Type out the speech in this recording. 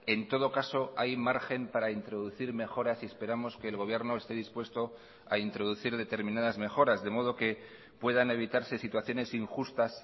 en todo caso hay margen para introducir mejoras y esperamos que el gobierno esté dispuesto a introducir determinadas mejoras de modo que puedan evitarse situaciones injustas